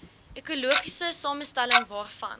ekologiese samestellings waarvan